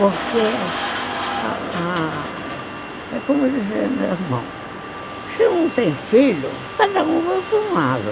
Porque ah... É como dizia meu irmão, se não tem filho, cada um vai para um lado.